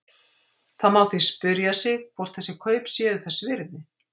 Það má því spyrja sig hvort þessi kaup séu þess virði?